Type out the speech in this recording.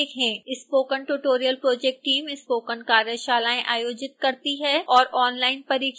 spoken tutorial project team spoken कार्यशालाएं आयोजित करती है और ऑनलाइन परीक्षण पास करने पर प्रमाण पत्र देती है